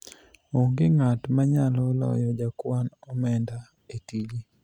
onge ng'at manyalo loyo jakwan omenda e tije